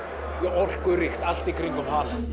orkuríkt allt í kringum